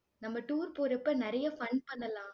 நம்ம tour போறப்ப, நிறைய fun பண்ணலாம்